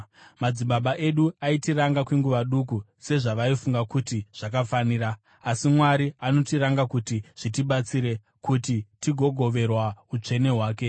Madzibaba edu aitiranga kwenguva duku sezvavaifunga kuti zvakafanira; asi Mwari anotiranga kuti zvitibatsire, kuti tigogoverwa utsvene hwake.